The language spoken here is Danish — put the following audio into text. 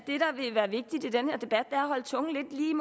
holde tungen lige